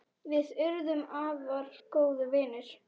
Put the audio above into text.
Við urðum afar góðir vinir.